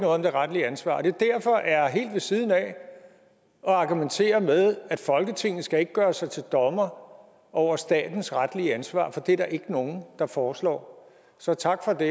om det retlige ansvar og at det derfor er helt ved siden af at argumentere med at folketinget ikke skal gøre sig til dommer over statens retlige ansvar for det er der ikke nogen der foreslår så tak for det